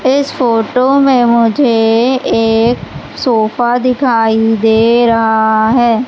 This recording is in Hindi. इस फोटो में मुझे एक सोफा दिखाई दे रहा है।